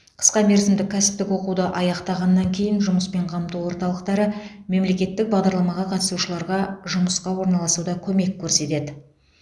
қысқа мерзімді кәсіптік оқуды аяқтағаннан кейін жұмыспен қамту орталықтары мемлекеттік бағдарламаға қатысушыларға жұмысқа орналасуда көмек көрсетеді